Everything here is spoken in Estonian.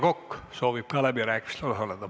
Ka Aivar Kokk soovib läbirääkimistel osaleda.